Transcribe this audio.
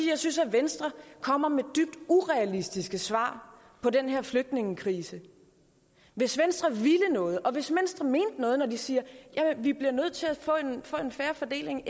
jeg synes at venstre kommer med dybt urealistiske svar på den her flygtningekrise hvis venstre ville noget og hvis venstre mente noget når de siger at vi bliver nødt til at få en fair fordeling